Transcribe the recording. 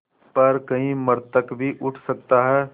पर कहीं मृतक भी उठ सकता है